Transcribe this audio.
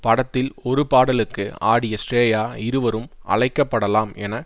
படத்தில் ஒரு பாடலுக்கு ஆடிய ஸ்ரேயா இருவரும் அழைக்கப்படலாம் என